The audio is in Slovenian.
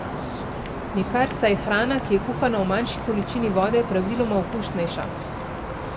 Nikar, saj je hrana, ki je kuhana v manjši količini vode, praviloma okusnejša.